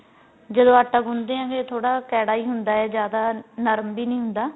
ਜਦੋ ਆਟਾ ਗੁੰਣਦੇ ਆ ਫੇਰ ਥੋੜਾ ਕੇੜਾ ਈ ਹੁੰਦਾ ਏ ਜਿਆਦਾ ਨਰਮ ਵੀ ਨੀਂ ਹੁੰਦਾ